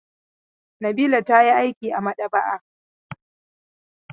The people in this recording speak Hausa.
Nabila ta yi aiki a maɗaba'a.